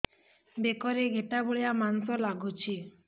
ବେକରେ ଗେଟା ଭଳିଆ ମାଂସ ଲାଗୁଚି